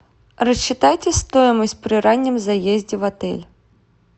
рассчитайте стоимость при раннем заезде в отель